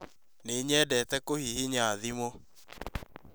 Nĩ nyendete kũhihinya thimũ